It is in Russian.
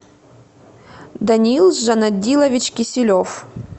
даниил жанадилович киселев